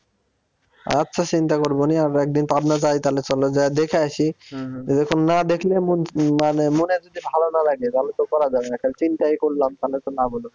আচ্ছা চিন্তা করবো নি আমরা একদিন পাবনা যাই তালে চলো যায় এ দেখে আসি এরকম না দেখলে মানে মনের যদি ভাল না লাগে তাহলে তো করা যাবে না খালি চিন্তাই করলাম তাহলে তো লাভ হল না।